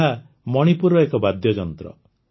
ଏହା ମଣିପୁରର ଏକ ବାଦ୍ୟଯନ୍ତ୍ର